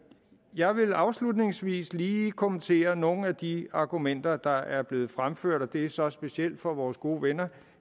jeg vil afslutningsvis lige kommentere nogle af de argumenter der er blevet fremført og det er så specielt fra vores gode venner